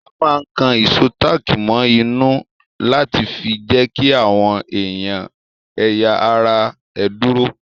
A máa ń kan ìsò táàkì mọ inú láti fi jẹ́kí àwọn ẹ̀yà ara ẹ dúró